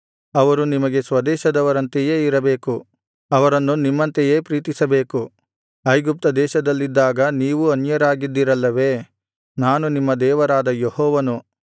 ಅವರು ನಿಮಗೆ ಸ್ವದೇಶದವರಂತೆಯೇ ಇರಬೇಕು ಅವರನ್ನು ನಿಮ್ಮಂತೆಯೇ ಪ್ರೀತಿಸಬೇಕು ಐಗುಪ್ತ ದೇಶದಲ್ಲಿದ್ದಾಗ ನೀವೂ ಅನ್ಯರಾಗಿದ್ದಿರಲ್ಲವೇ ನಾನು ನಿಮ್ಮ ದೇವರಾದ ಯೆಹೋವನು